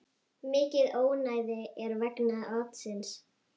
Mikið ónæði er vegna atsins.